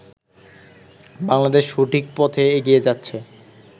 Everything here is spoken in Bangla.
বাংলাদেশ সঠিক পথে এগিয়ে যাচ্ছে।